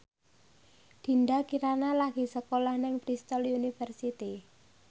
Dinda Kirana lagi sekolah nang Bristol university